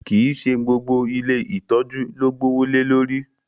Kii ṣe gbogbo ìlé itọju lo gboowo le lori